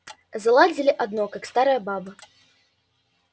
заладили одно как старая баба